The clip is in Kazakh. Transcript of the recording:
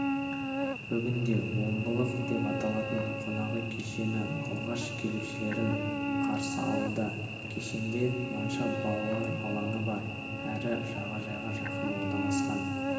бүгінде омбылық деп аталатын қонақ үй кешені алғашқы келушілерін қарсы алуда кешенде монша балалар алаңы бар әрі жағажайға жақын орналасқан